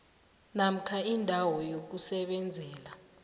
namkha indawo yokusebenzela